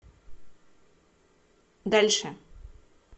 дальше